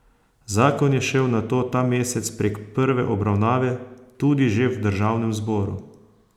Zakon je šel nato ta mesec prek prve obravnave tudi že v državnem zboru.